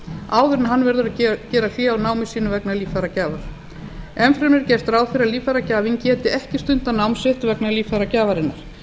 áður en hann verður að gera hlé á námi sínu vegna líffæragjafar enn fremur er gert ráð fyrir að líffæragjafinn geti ekki stundað nám sitt vegna líffæragjafarinnar